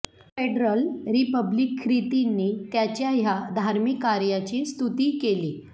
federal republic ख्रितींनी त्याच्या ह्या धार्मिक कार्याची स्तुती केली